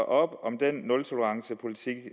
om den nultolerancepolitik